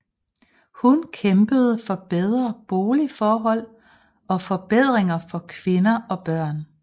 Hun kæmpede for bedre boligforhold og forbedringer for kvinder og børn